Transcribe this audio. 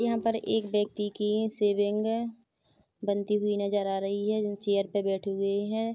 यहाँ पर एक व्यक्ति की शेविंग बनती हुई नज़र आ रही है ज चेयर पे बैठी हुए है।